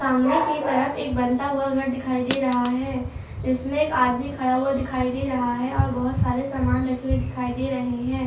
सामने की तरफ एक बनता हुआ घर दिखाई दे रहा है इसमें एक आदमी खड़ा हुआ दिखाई दे रहा है और बहुत सारे सामान रखे हुए दिखाई दे रहे हैं।